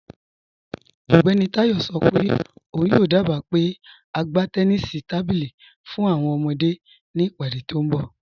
Ọgbẹni Tayọ sọ pe ọun yoo dába pe a gbà tẹ̀nìṣí tábílí fún awọn ọmọde ni ìpadé tí nbọ̀.